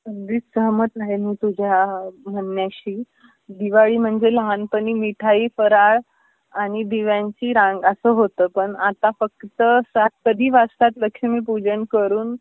अगदीच सहमत आहे मी तुझ्या म्हणण्याशी. दिवाळी म्हणजे लहानपणी मिठाई, फराळ, आणि दिव्यांची रांग अस होता. पण आता फक्त सात कधी वाजतात लक्ष्मीपूजन करून